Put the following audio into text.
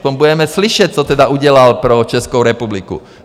Potom budeme slyšet, co tedy udělal pro Českou republiku.